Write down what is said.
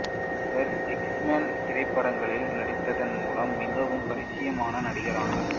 இவர் எக்ஸ்மென் திரைப்படங்களில் நடித்ததன் மூலம் மிகவும் பரிசியமான நடிகர் ஆனார்